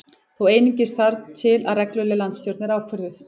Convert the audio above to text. Þó einungis þar til að regluleg landsstjórn er ákvörðuð